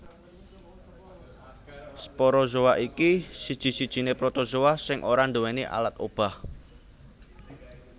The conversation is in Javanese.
Sporozoa iki siji sijiné Protozoa sing ora nduwèni alat obah